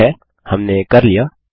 ठीक है हमने कर लिया